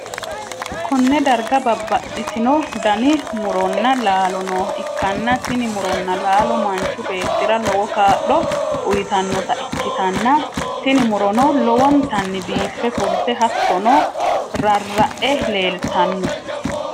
konne darga bababxxitino dani muronna laalo nooha ikkanna, tini muronna laalo manchu beetti'ra lowo kaa'lo uytannota ikkitanna, tini murono lowontanni biiffe fulte hattono, rarra'e leeltanno.